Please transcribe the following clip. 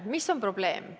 Mis on probleem?